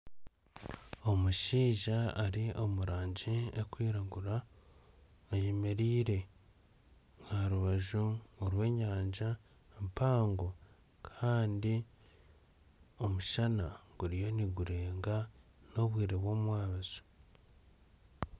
Omushaija ari omurangi ekwiragura ayemereire aharubaju rw'enyanja mpango Kandi omushana guriyo nigurenga n'obwire bwomwabazyo.